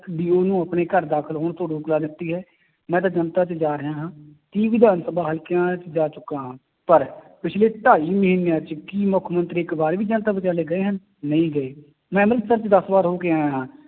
ਨੂੰ ਆਪਣੇ ਘਰ ਦਾਖਲ ਹੋਣ ਤੋਂ ਰੋਕ ਲਾ ਦਿੱਤੀ ਹੈ, ਮੈਂ ਤਾਂ ਜਨਤਾ ਚ ਜਾ ਰਿਹਾ ਹਾਂ ਕਈ ਵਿਧਾਨ ਸਭਾ ਹਲਕਿਆਂ ਚ ਜਾ ਚੁੱਕਾ ਹਾਂ ਪਰ ਪਿੱਛਲੇ ਢਾਈ ਮਹੀਨਿਆਂ ਚ ਕੀ ਮੁੱਖ ਮੰਤਰੀ ਇੱਕ ਵਾਰ ਵੀ ਜਨਤਾ ਵਿਚਾਲੇ ਗਏ ਹਨ, ਨਹੀਂ ਗਏ, ਮੈਂ ਅੰਮ੍ਰਿਤਸਰ ਚ ਦਸ ਵਾਰ ਹੋ ਕੇ ਆਇਆ ਹਾਂ